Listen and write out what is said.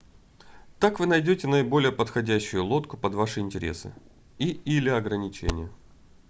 так вы найдете наиболее подходящую лодку под ваши интересы и/или ограничения